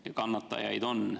Ka kannatajaid on.